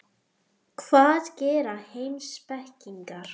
Hvað gera heimspekingar?